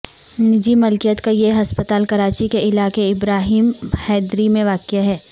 نجی ملکیت کا یہ ہسپتال کراچی کے علاقے ابراہیم حیدری میں واقع ہے